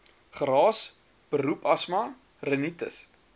geraas beroepsasma rinitis